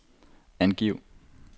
angiv